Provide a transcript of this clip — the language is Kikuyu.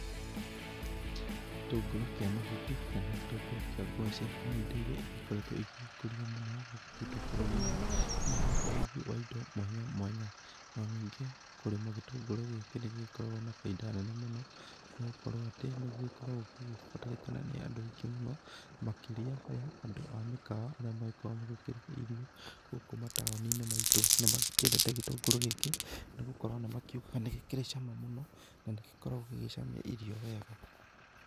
Gĩtũngũrũ kĩa mahuti kana gĩtũngũrũ kia gwacĩ nĩ indo ĩrĩa igĩkoretwo igĩkũrio mũno hũkũ gwĩtũ bũrũri-inĩ nĩ ũndũ wa ũrugi mwanya mwanya no ningĩ, kũrĩma gĩtũngũrũ gĩkĩ nĩ gĩkoragwo na baita nene mũno nĩ gũkorwo atĩ nĩgĩkoragwo gĩgĩbataranĩkana nĩ andũ aingĩ mũno makĩrĩa andũ mũno makĩrĩa ya andũ a mĩkawa arĩa magĩkoragwo magĩkĩruga irio gũkũ mataoni-inĩ maitũ ,nĩ magĩkĩendete gĩtũngũrũ gĩkĩ nĩ gũkorwo nĩ makĩũgaga nĩ gĩkĩrĩ cama mũno na nĩgĩkoragwo gĩgĩcamia irio wega.